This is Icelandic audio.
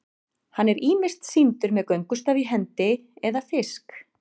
hann er ýmist sýndur með göngustaf í hendi eða fisk